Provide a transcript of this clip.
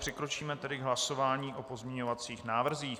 Přikročíme tedy k hlasování o pozměňovacích návrzích.